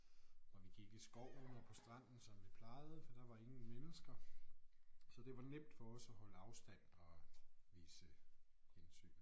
Og vi gik i skoven og på stranden som vi plejede for der var ingen mennesker så det var nemt for os at holde afstand og vise hensyn